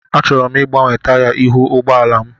Achọrọ m ịgbanwe taya ihu ụgbọ ala m.